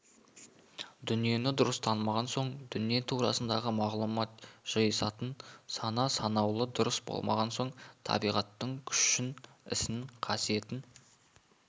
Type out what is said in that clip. дүниені дұрыс танымаған соң дүние турасындағы мағлұмат жиысатын сана-саңлауы дұрыс болмаған соң табиғаттың күшін ісін қасиетін